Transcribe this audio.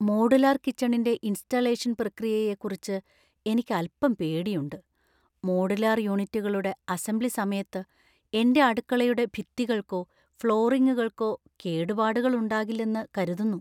Modular കിച്ചണിന്‍റെ ഇൻസ്റ്റാളേഷൻ പ്രക്രിയയെക്കുറിച്ച് എനിക്ക് അൽപ്പം പേടിയുണ്ട് . മോഡുലാർ യൂണിറ്റുകളുടെ അസംബ്ലി സമയത്ത് എന്‍റെ അടുക്കളയുടെ ഭിത്തികൾക്കോ ഫ്ലോറിങ്ങുകൾക്കോ കേടുപാടുകൾ ഉണ്ടാകില്ലെന്നു കരുതുന്നു.